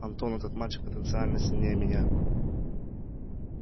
антон этот мальчик потенциально сильнее меня